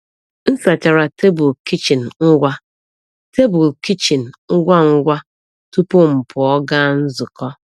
M sachachara tebụl kichin ngwa tebụl kichin ngwa ngwa tupu m pụọ gaa nzukọ.